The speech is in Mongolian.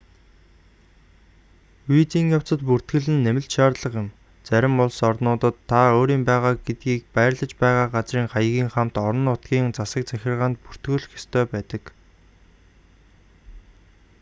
визийн явцад бүртгэл нь нэмэлт шаардлага юм зарим улс орнуудад та өөрийн байгаа гэдгийг байрлаж байгаа газрын хаягийн хамт орон нутгийн засаг захиргаанд бүртгүүлэх ёстой байдаг